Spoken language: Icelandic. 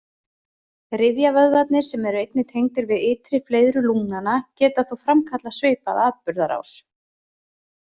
Rifjavöðvarnir, sem eru einnig tengdir við ytri fleiðru lungnanna, geta þó framkallað svipaða atburðarás.